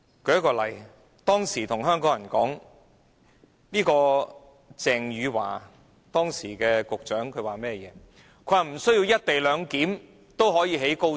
舉例來說，當時的運輸及房屋局局長鄭汝樺向香港人表示，不需要"一地兩檢"也可興建高鐵。